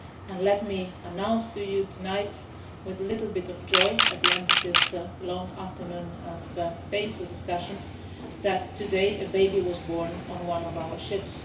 And let me announce to you tonight, with a little bit of joy at the end of this long afternoon of painful discussions, that a baby was born today on one of our ships.